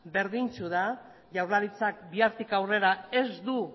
berdintsu da jaurlaritzak bihartik aurrera ez du